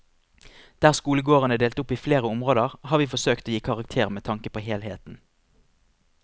Der skolegården er delt opp i flere områder, har vi forsøkt å gi karakter med tanke på helheten.